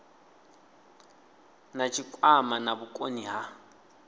na tshikwama na vhukoni ha